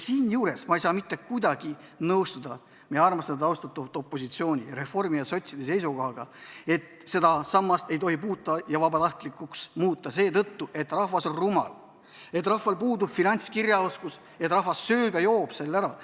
Siinjuures ma ei saa mitte kuidagi nõustuda meie armastatud-austatud opositsiooniga, Reformierakonna ja sotside seisukohaga, et seda sammast ei tohi puutuda ja vabatahtlikuks muuta seetõttu, et rahvas on rumal, et rahval puudub finantskirjaoskus, et rahvas sööb ja joob selle raha ära.